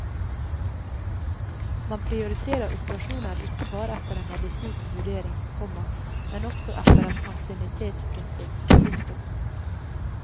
Man prioriterer operasjoner ikke bare etter en medisinsk vurdering, komma men også etter et ansiennitetsprinsipp. punktum